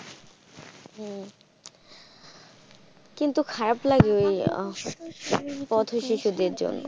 কিন্তু খারাপ লাগে এই পথ শিশুদের জন্য।